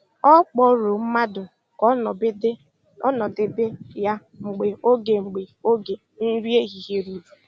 Ọ kpọrọ mmadụ ka ọ nọdebe ya mgbe oge mgbe oge nri ehihie ruru